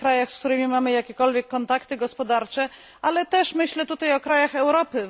W tych krajach, z którymi mamy jakiekolwiek kontakty gospodarcze, ale też myślę tutaj o krajach Europy.